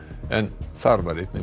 en þar var einnig